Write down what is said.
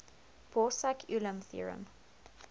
borsuk ulam theorem